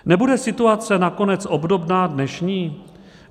Nebude situace nakonec obdobná dnešní?